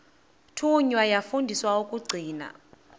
thunywa yafundiswa ukugcina